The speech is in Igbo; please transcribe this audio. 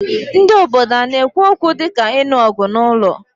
Ndị obodo ana-ekwu okwu dị ka inu ogu n'ụlọ?